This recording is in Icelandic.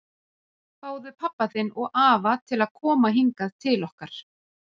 Fáðu pabba þinn og afa til að koma hingað til okkar!